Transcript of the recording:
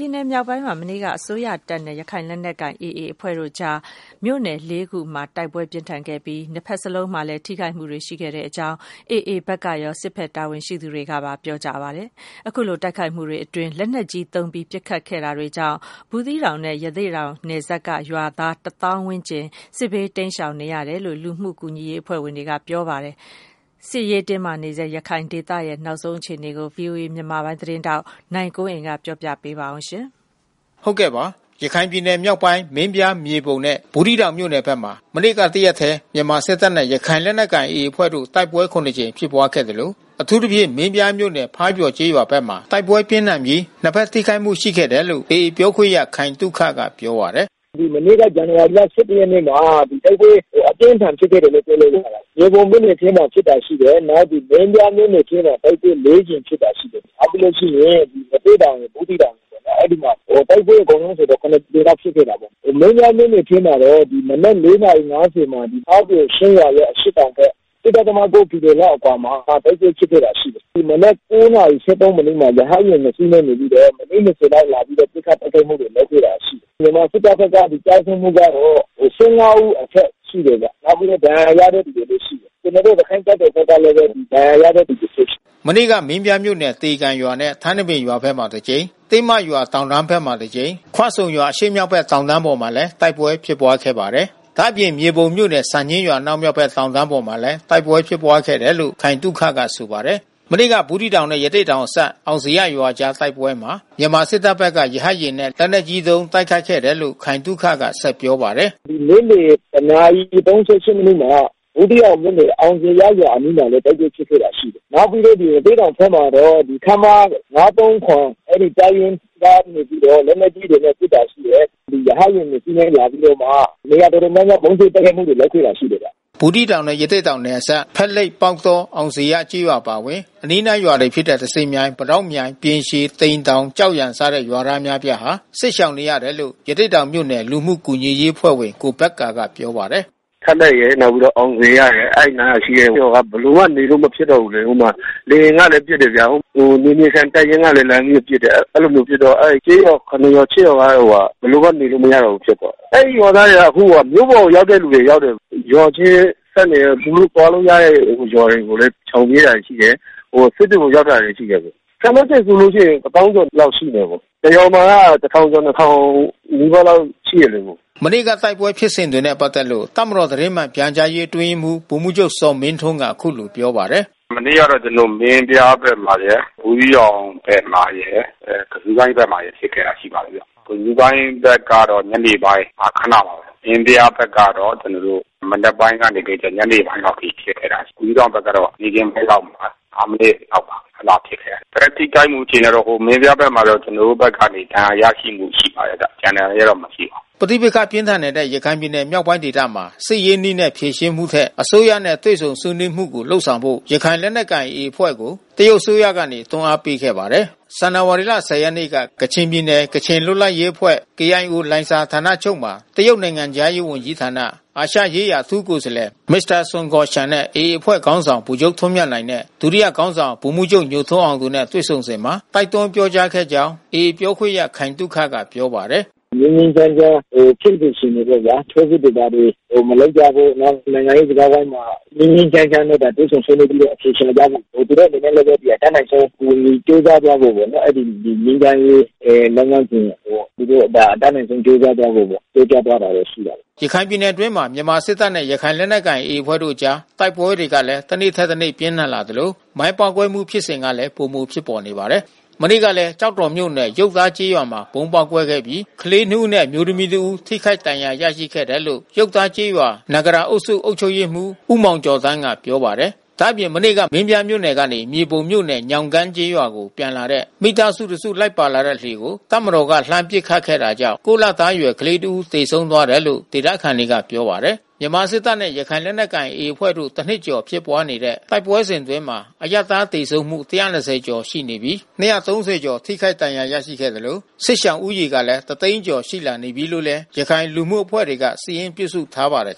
ြည်နယ်မြောက်ပိုင်းဒေသမှာ မနေ့က မြန်မာစစ်တပ်နဲ့ ရခိုင်လက်နက်ကိုင် AA အဖွဲ့တို့အကြား မြို့နယ် ၄ မြို့နယ်မှာ တိုက်ပွဲအပြင်းအထန် ဖြစ်ပွားခဲ့သလို နှစ်ဖက်ထိခိုက်မှုတွေ ရှိခဲ့တယ်လို့ AA နဲ့ တပ်မတော် တာဝန်ရှိသူတွေက ပြောပါတယ်။ ဒီလို နှစ်ဖက်တိုက်ပွဲဖြစ်ပွားမှုအတွင်း လက်နက်ကြီးနဲ့ ပစ်ခတ်တိုက်ခိုက်မှုတွေကြောင့် ဘူးသီးတောင်နဲ့ ရသေ့တောင်နယ်စပ်က ရွာသားတသောင်းခန့်ဟာ စစ်ဘေး တိမ်းရှောင်နေရတယ်လို့ လူမှုကူညီရေး အဖွဲ့ဝင်တွေက ဆိုပါတယ်။ စစ်ရေးတင်းမာဆဲ ရခိုင်ဒေသရဲ့ အခြေအနေကိုတော့ ဗွီအိုအေ မြန်မာပိုင်းသတင်းထောက် နိုင်ကွန်းအိန် သတင်းပေးပို့ထားပါတယ်။ ရခိုင်ပြည်နယ်မြောက်ပိုင်း မင်းပြား၊ မြေပုံနဲ့ ဘူးသီးတောင်မြို့နယ်ဘက်မှာ မနေ့ကတရက်တည်း မြန်မာစစ်တပ်နဲ့ ရခိုင်လက်နက်ကိုင် AA အဖွဲ့တို့ တိုက်ပွဲ ၇ ကြိမ် ဖြစ်ပွားခဲ့သလို အထူးသဖြင့် မင်းပြားမြို့နယ် ဖားပျော်ကျေးရွာဘက်မှာ တိုက်ပွဲပြင်းထန်ပြီး နှစ်ဖက်ထိခိုက်မှု ရှိခဲ့တယ်လို့ AA ပြောခွင့်ရ ခိုင်သုခက ပြောပါတယ်။ “မနေ့က ဇန်နဝါရီလ ၁၁ ရက်နေ့မှာ တိုက်ပွဲအပြင်းအထန် ဖြစ်ခဲ့တယ်လို့ ပြောလို့ရတယ်။ မြေပုံမြို့နယ်ထဲမှာ ဖြစ်တာ ရှိတယ်။ နောက် မင်းပြားမြို့နယ်ထဲမှာ တိုက်ပွဲ ၄ ကြိမ်ဖြစ်တာ ရှိတယ်။ နောက်ပြီးလို့ရှိရင် ရသေ့တောင်၊ ဘူးသီးတောင် ရယ်ပေါ့နော် အဲဒီမှာ တိုက်ပွဲအကုန်လုံးဆိုရင် ၇ ကြိမ်လောက် ဖြစ်ခဲ့တာပေါ့။ မင်းပြားမြို့နယ်ထဲမှာတော့ မနက် ၇ နာရီ ၅၀ မှာ ဖားပျော်ချင်းရွာရဲ့ အရှေ့တောင်ဘက် ၁.၉ ကီလိုမီတာလောက်အကွာမှာ တိုက်ပွဲဖြစ်ခဲ့တာရှိတယ်။ မနက် ၉ နာရီ ၁၃ မိနစ်မှာ ရဟတ်ယာဉ်နှစ်စီးနဲ့ လာပြီးတော့ မိနစ် ၂၀ လောက် လာပြီးတော့ ပစ်ခတ်တိုက်ခိုက်မှုတွေ လုပ်ခဲ့တာရှိတယ်။ မြန်မာစစ်တပ်ဘက်က ကျဆုံးမှုကတော့ ၁၅ ဦးအထက် ရှိတယ်ဗျ။ နောက်ပြီးတော့ ဒဏ်ရာရတဲ့သူလည်း ရှိတယ်။ ကျနော်တို့ ရခိုင့်တပ်တော်ဘက်ကလည်း ဒဏ်ရာရတဲ့သူလည်း ရှိတယ်။” မနေ့က မင်းပြားမြို့နယ် သေကန်ရွာနဲ့ ထန်းတပင်ရွာဘက်မှာ တကြိမ်၊ တင်းမရွာတောင်တန်းဘက်မှာ တကြိမ်၊ ခွဆုံရွာ အရှေ့မြောက်ဘက် တောင်တန်းပေါ်မှာလည်း တိုက်ပွဲဖြစ်ပွားခဲ့ပါတယ်။ ဒါ့အပြင် မြေပုံမြို့နယ် စံညှင်းရွာ အနောက်မြောက်ဘက် တောင်တန်းပေါ်မှာလည်း တိုက်ပွဲဖြစ်ပွားခဲ့တယ်လို့ ခိုင်သုခက ဆိုပါတယ်။ မနေ့က ဘူးသီးတောင်နဲ့ ရသေ့တောင်အစပ် အောင်ဇေယျရွာအကြား တိုက်ပွဲမှာ မြန်မာစစ်တပ်ဘက်က ရဟတ်ယာဉ်နဲ့ လက်နက်ကြီးသုံး တိုက်ခိုက်ခဲ့တယ်လို့ ခိုင်သုခက ဆက်ပြောပါတယ်။ “နေ့လယ် ၁ နာရီ ၃၈ မိနစ်မှာ အောင်ဇေယျရွာအနီးမှာလည်း တိုက်ပွဲဖြစ်ခဲ့တာရှိတယ်။ နောက်ပြီးတော့ ရသေ့တောင်ဘက်မှာတော့ ခမရ ၅၃၇ အဲဒီတပ်ရင်းကနေပြီးတော့ လက်နက်ကြီးတွေနဲ့ပစ်တာ ရှိတယ်။ ရဟတ်ယာဉ်နှစ်စီးနဲ့ လာပြီးတော့မှ နေရာတော်တော်များများ ဗုံးကြဲတိုက်ခိုက်မှုတွေ လုပ်ခဲ့တာရှိတယ်ဗျ။” ဒီလိုဖြစ်ပွားတဲ့ တိုက်ပွဲအတွင်း လက်နက်ကြီးနဲ့ ပစ်ခတ်တိုက်ခိုက်မှုတွေကြောင့် ဖက်လိပ်၊ ပေါက်တော၊ အောင်ဇေယျကျေးရွာ အပါအဝင် အနီးနားရွာတွေဖြစ်တဲ့ သဇင်မြိုင်၊ ပိတောက်မြိုင်၊ ပြင်ရှည်၊ သိမ်တောင်၊ ကျောက်ရံ စတဲ့ ရွာသားအများအပြားဟာ စစ်ရှောင်နေရတယ်လို့ ရသေ့တောင်မြို့နယ် လူမှုကူညီရေးအဖွဲ့ဝင် ကိုဘက္ကာက ပြောပါတယ်။ “ဖက်လိပ်ရယ် အောင်ဇေယျရယ် အဲဒီနားမှာရှိတဲ့ရွာက ဘယ်လိုမှ နေလို့မဖြစ်တော့ဘူးလေ။ ဟိုမှာ လေယာဉ်ကလည်း ပစ်တယ်ဗျာ။ နယ်မြေခံတပ်ရင်းကလည်း လှမ်းပြီးပစ်တယ်။ အဲဒီလိုပစ်တော့ ကျေးရွာ ၇ ရွာ ၈ ရွာက ဘယ်လိုမှ နေလို့မရတော့ဘူး ဖြစ်သွားတယ်။ အဲဒီရွာသားတွေက မြို့ပေါ်ရောက်တဲ့သူက ရောက်တယ်။ ရွာထဲဆက်နွှယ်ရာ သူတို့သွားလို့ရတဲ့ ရွာတွေကိုလည်း ရှောင်ပြေးတာတွေ ရှိတယ်။ စစ်တွေကို ရောက်တာတွေ ရှိတယ်။ ခန့်မှန်းချေဆိုလို့ရှိရင် တသောင်းကျော်လောက်ရှိမယ်။ တရွာမှာက တထောင်ကျော် နှစ်ထောင်နီးပါးလောက် ရှိတယ်လေ။” မနေ့က တိုက်ပွဲဖြစ်စဉ်တွေနဲ့ ပတ်သက်လို့ တပ်မတော် သတင်းမှန်ပြန်ကြားရေး အတွင်းရေးမှူး ဗိုလ်မှူးချုပ်ဇော်မင်းထွန်းက အခုလိုပြောပါတယ်။ “မနေ့ကတော့ ကျနော်တို့ မင်းပြားဘက်မှာရယ် ဘူးသီးတောင်ဘက်မှာရယ် ကဇူးကိုင်း ဘက်မှာရယ် ဖြစ်ခဲ့တာရှိပါတယ်။ ကဇူးကိုင်းဘက်ကတော့ နေ့ပိုင်းမှာ ခနပါပဲ။ မင်းပြားဘက်ကတော့ ကျနော်တို့ မနက်ပိုင်းကနေ ညနေပိုင်းအထိ ဖြစ်ခဲ့တာရှိပါတယ်။ ဘူးသီးတောင်ဘက်ကတော့ နေ့ခင်းပိုင်းလောက်မှာ ၅ မိနစ်လောက်ပါ အဲဒီလောက်ဖြစ်ခဲ့တယ်။ ထိခိုက်မှု အခြေအနေကတော့ မင်းပြားဘက်မှာတော့ ကျနော်တို့ဘက်ကနေ ဒဏ်ရာရရှိမှု ရှိပါတယ်။” ပဋိပက္ခ ပြင်းထန်နေတဲ့ ရခိုင်ပြည်နယ်မြောက်ပိုင်းဒေသမှာ စစ်ရေးနည်းနဲ့ ဖြေရှင်းမှုထက် အစိုးရနဲ့ တွေ့ဆုံဆွေးနွေးမှုကို လုပ်ဆောင်ဖို့ ရခိုင်လက်နက်ကိုင်အဖွဲ့ ကို တရုတ်အစိုးရက တွန်းအားပေးခဲ့ပါတယ်။ ဇန်နဝါရီ ၁ဝ ရက်က ကချင်ပြည်နယ် ကချင်လွတ်မြောက်ရေးအဖွဲ့ လိုင်ဇာဌာနချုပ်မှာ တရုတ်နိုင်ငံခြားရေးဝန်ကြီးဌာန အာရှရေးရာ အထူးကိုယ်စားလှယ် Mr. Sun Guoxiang နဲ့ AA အဖွဲ့ခေါင်းဆောင် ဗိုလ်ချုပ်ထွန်းမြတ်နိုင်၊ ဒုတိယခေါင်းဆောင် ဗိုလ်မှူးချုပ်ညိုထွန်းအောင်နဲ့ တွေ့ဆုံစဉ်မှာ တိုက်တွန်းပြောကြားခဲ့ကြောင်း AA ပြောခွင့်ရ ခိုင်သုခက ပြောပါတယ်။ “ငြိမ်းငြိမ်းချမ်းချမ်း ဖြစ်စေချင်တယ်ပေါ့ဗျာ။ ထိုးစစ်တွေ ဘာတွေ မလုပ်ကြဖို့။ နောက် နိုင်ငံရေးစကားဝိုင်းမှာ ငြိမ်းငြိမ်းချမ်းချမ်းနဲ့ တွေ့ဆုံဆွေးနွေးပြီးတော့ အဖြေရှာကြဖို့ သူတို့အနေနဲ့လည်း အတတ်နိုင်ဆုံး အကူအညီ ပေးသွားကြဖို့ပေါ့နော် အဲဒီ ငြိမ်းချမ်းရေး လုပ်ငန်းစဉ်အပေါ် သူတို့အနေနဲ့ အတတ်နိုင်ဆုံး ကြိုးစားသွားဖို့ပေါ့ ပြောကြားသွားတာတော့ ရှိပါတယ်။” ရခိုင်ပြည်နယ်အတွင်းမှာ မြန်မာစစ်တပ်နဲ့ ရခိုင်လက်နက်ကိုင် AA အဖွဲ့တို့အကြား တိုက်ပွဲတွေလည်း တနေ့ထက်တနေ့ ပြင်းထန်လာသလို မိုင်းပေါက်ကွဲမှု ဖြစ်စဉ်ကလည်း ပိုမိုဖြစ်ပေါ်နေပါတယ်။ မနေ့ကလည်း ကျောက်တော်မြို့နယ် ရုပ်သားကျေးရွာမှာ ဗုံးပေါက်ကွဲခဲ့ပြီး ကလေးနှစ်ဦးနဲ့ အမျိုးသမီးတဦး ထိခိုက်ဒဏ်ရာ ရရှိခဲ့တယ်လို့ ရုပ်သားကျေးရွာ နဂရာအုပ်စု အုပ်ချုပ်ရေးမှူး ဦးမောင်ကျော်သန်းက ပြောပါတယ်။ ဒါ့အပြင် မနေ့က မင်းပြားမြို့နယ်ကနေ မြေပုံမြို့နယ် ညောင်ကန်းကျေးရွာကို ပြန်လာတဲ့ မိသားစုတစု လိုက်ပါလာတဲ့ လှေကို တပ်မတော်က လှမ်းပစ်ခတ်ခဲ့တာကြောင့် ၉ လအရွယ်ကလေး သေဆုံးသွားတယ်လို့ ဒေသခံတွေက ပြောပါတယ်။ မြန်မာစစ်တပ်နဲ့ ရခိုင်လက်နက်ကိုင် AA တပ်ဖွဲ့တို့ တနှစ်ကျော် ဖြစ်ပွားနေတဲ့ တိုက်ပွဲအတွင်းမှာ အရပ်သားသေဆုံးမှု ၁၂၀ ကျော်အထိ ရှိလာနေပြီး ၂၃၀ ကျော် ထိခိုက်ဒဏ်ရာ ရရှိခဲ့သလို စစ်ရှောင်ဦးရေ တသိန်းကျော် ရှိလာနေပြီလို့လည်း ရခိုင်လူမှုအဖွဲ့တွေက စာရင်းပြုစုထားပါတယ်